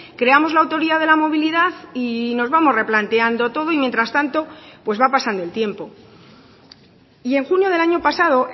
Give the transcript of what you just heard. creamos la autoridad de la movilidad y nos vamos replanteando todo y mientras tanto pues va pasando el tiempo y en junio del año pasado